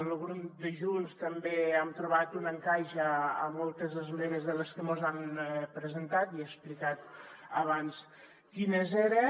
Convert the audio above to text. al grup de junts també hem trobat un encaix a moltes esmenes de les que mos han presentat ja he explicat abans quines eren